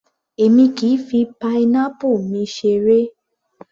Èmi kìí fi pineapple mi seré